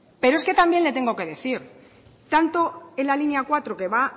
pero es que también le tengo que decir que tanto en la línea cuatro que va